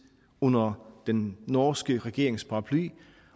under den norske regerings paraply